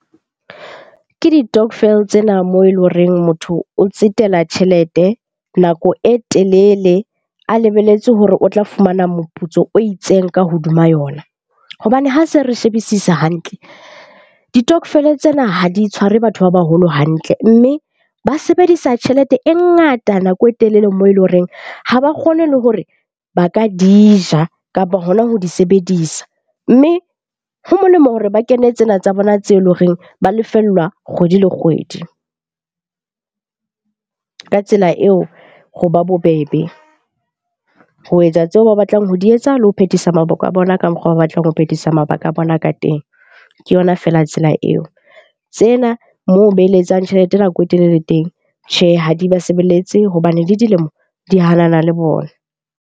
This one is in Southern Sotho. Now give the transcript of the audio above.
Ke ditokvel tsena moo e le ho reng motho o tsetela tjhelete nako e telele a lebelletse hore o tla fumana moputso o itseng ka hodima yona. Hobane ha se re shebisisa hantle, ditokofele tsena ha di tshware batho ba baholo hantle mme ba sebedisa tjhelete e ngata nako e telele moo e le ho reng ha ba kgone le hore ba ka di ja kapa hona ho di sebedisa. Mme ho molemo hore ba kene tsena tsa bona tseo e leng horeng ba lefellwa kgwedi le kgwedi. Ka tsela eo, ho ba bobebe ho etsa tseo ba batlang ho di etsa, le ho phethisa mabaka a bona ka mokgwa batlang ho phethisa mabaka a bona ka teng, ke yona feela tsela eo. Tsena moo beletsang tjhelete nako e telele teng tjhe, ha di ba sebeletse hobane le dilemo di hanana le bona.